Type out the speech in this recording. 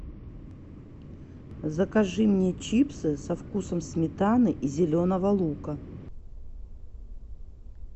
закажи мне чипсы со вкусом сметаны и зеленого лука